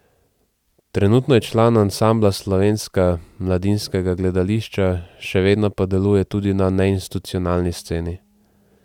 Trenutno je član ansambla Slovenska mladinskega gledališča, še vedno pa deluje tudi na neinstitucionalni sceni.